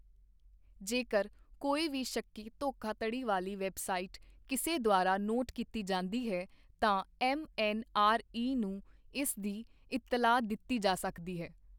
ਜੇਕਰ ਕੋਈ ਵੀ ਸ਼ੱਕੀ ਧੋਖਾਧੜੀ ਵਾਲੀ ਵੈੱਬਸਾਈਟ ਕਿਸੇ ਦੁਆਰਾ ਨੋਟ ਕੀਤੀ ਜਾਂਦੀ ਹੈ, ਤਾਂ ਐੱਮਐੱਨਆਰਈ ਨੂੰ ਇਸ ਦੀ ਇਤਲਾਹ ਦਿੱਤੀ ਜਾ ਸਕਦੀ ਹੈ।